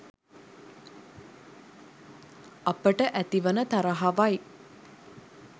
අපට ඇති වන තරහවයි.